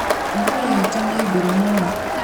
Ngui itũ nĩ ngũrũ mũno